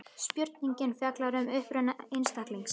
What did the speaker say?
Spurningin fjallar um uppruna einstaklings.